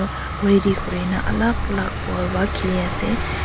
aa ready kuri na alag alag ball para kheli ase.